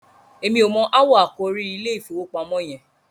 èmi ọ mọ awọ àkòrí ìIlé ìfowópamọ́ yen.